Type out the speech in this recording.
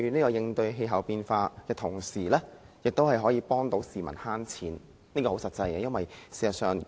在應對氣候變化的同時，亦有助市民節省金錢，這方面很實際。